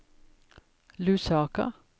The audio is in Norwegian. Lusaka